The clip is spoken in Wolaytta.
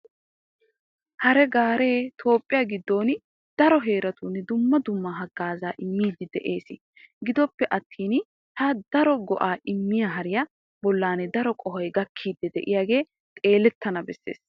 Hariya gaaree toophphiya giddon daro heeratun dumma dumma haggaazaa immiiddi de'ees. Gidoppe attin ha daro go"aa immiya hariya bollan daro qohoy gakkiiddi de'iyogee xeelettana bessiyaba.